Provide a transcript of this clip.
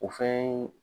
O fɛn